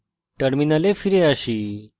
terminal ফিরে আসুন